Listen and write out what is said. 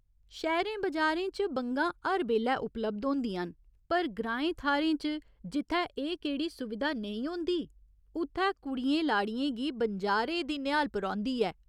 शैह्‌रें बजारें च बंगा हर बेल्लै उपलब्ध होंदियां न पर ग्राएं थाह्‌रें च जित्थै एह् केह्ड़ी सुविधा नेईं होंदी उत्थै कुड़ियें लाड़ियें गी बनजारे दी नेहालप रौंह्दी ऐ।